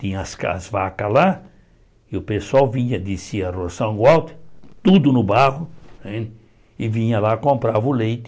Tinha as ca as vacas lá e o pessoal vinha descia a rua, tudo no barro, né e vinha lá e comprava o leite.